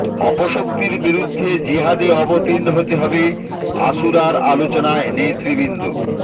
অপশক্তির বিরুদ্ধে জিহাদে অবতীর্ণ হতে হবে আশুরার আলোচনায় নেতৃবৃন্দ